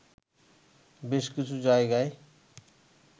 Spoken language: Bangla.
বেশ কিছু জায়গায়